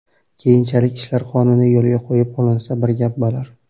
Keyinchalik ishlar qonuniy yo‘lga qo‘yib olinsa bir gap bo‘lar.